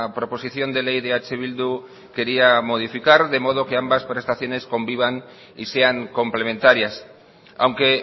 proposición de ley de eh bildu quería modificar de modo que ambas prestaciones convivan y sean complementarias aunque